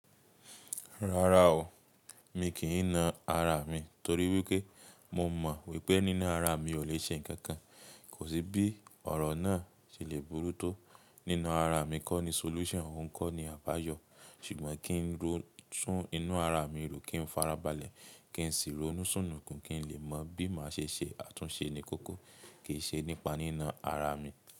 Rárá o, mi kìí na ara mi torí wípé mo mọ̀ wípé nínà ara mi ò lè ṣe nǹkan kan. Kò sí bí ọ̀rọ̀ náà ṣe lè burú tó. Nína ara mi kọ́ ni solution òun kọ́ ni àbáyọ̀. Ṣùgbọ́n kí n lọ tún inú ara mi ró, kí n farabalẹ̀, kí n sì ronú sùnùkùn kí n lè mọ bí màá ṣe ṣe àtúnṣe ní kókó kìí ṣe nípa nína ara mi.